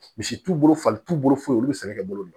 Misi t'u bolo fali t'u bolo foyi sɛnɛ bolo